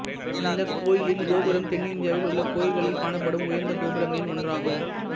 இந்த கோயிலின் கோபுரம் தென்னிந்தியாவில் உள்ள கோயில்களில் காணப்படும் உயர்ந்த கோபுரங்களில் ஒன்றாகும்